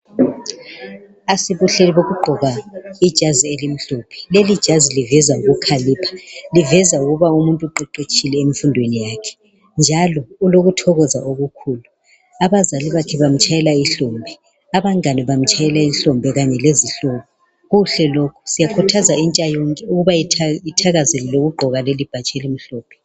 Asibuhle bokugqoka ijazi elimhlophe ,lelijazi liveza ukukhalipha .Liveza ukuba umuntu uqeqetshile enfundweni yakhe njalo ulokuthokoza okukhulu .Abazali bamtshayela ihlombe ,abangane bamtshayela ihlombe kanye lezihlobo .Kuhle lokhu ,siyakhuthaza intsha yonke ukuba ithakazelele ukugqoka lelibhatshi elimhlophe.